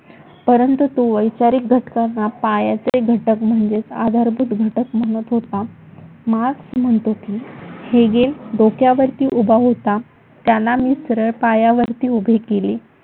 परंतु तो वैचारिक घटकांना पायाचे घटक म्हणजेच आधारभूत घटक म्हणत होता. मार्क्स म्हणतो की, हेगील डोक्यावरती उभा होता त्यांना मी सरळ पायावरती उभे केले.